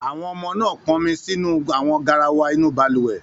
Àwọn ọmọ náà pọnmi sínú àwọn garawa inú balùwẹ̀?